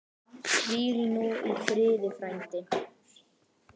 Hvíl þú í friði frændi.